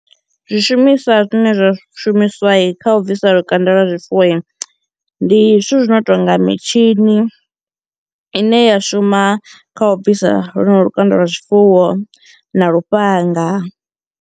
Zwishumiswa zwine zwa shumiswai kha u bvisa lukanda lwa zwifuwoi ndi zwithu zwino tonga mitshini, ine ya shuma kha u bvisa lwonolo lukanda lwa zwifuwo na lufhanga.